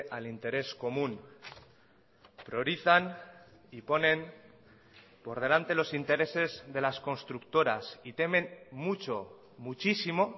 al interés común priorizan y ponen por delante los intereses de las constructoras y temen mucho muchísimo